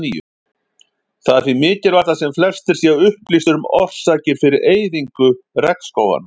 Það er því mikilvægt að sem flestir séu upplýstir um orsakir fyrir eyðingu regnskóganna.